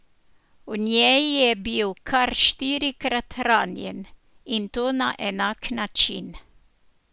V njej je bil kar štirikrat ranjen, in to na enak način.